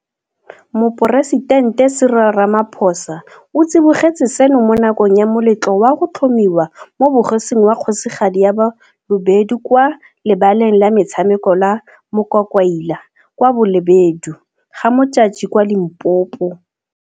Moporesitente Cyril Ramaphosa o tsibogetse seno mo nakong ya moletlo wa go tlhomiwa mo bogosing wa Kgosigadi ya Balobedu kwa lebaleng la metshameko la Mokwakwaila kwa Bolobedu, GaModjadji kwa Limpopo.